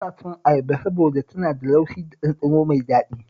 Ina son ayaba saboda tana da laushi da ɗanɗano mai daɗi